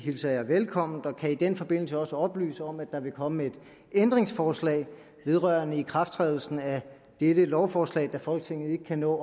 hilser jeg velkommen og kan i den forbindelse også oplyse om at der vil komme et ændringsforslag vedrørende ikrafttrædelsen af dette lovforslag da folketinget ikke kan nå